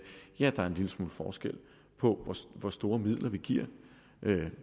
ja der er en lille smule forskel på hvor store midler vi giver